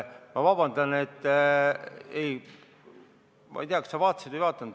Ma ei tea, kas sa vaatasid seda või ei vaadanud.